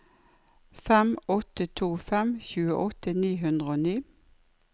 fem åtte to fem tjueåtte ni hundre og ni